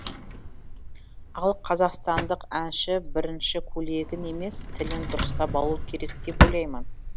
ал қазақстандық әнші бірінші көйлегін емес тілін дұрыстап алу керек деп ойлаймын